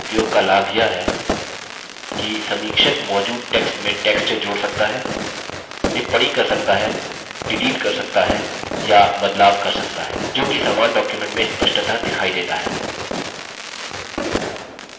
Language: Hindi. इस विशेषता के उपयोग का लाभ यह है कि समीक्षक मौजूद टेक्स्ट में टेक्स्ट जोड़ सकता है टिप्पणी कर सकता हैडिलीट कर सकता है या बदलाव कर सकता है जो कि समान डॉक्युमेंट में स्पष्टतः दिखाई देता है